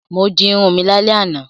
Mo di irun mi lálẹ́ àná.